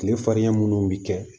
Kile fariya munnu bɛ kɛ